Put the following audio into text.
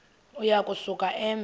uya kusuka eme